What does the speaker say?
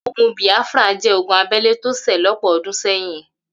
Ogun Biafra jẹ́ ogún abẹ́lé tó ṣẹ̀ lọ́pọ̀ ọdún sẹ́yìn.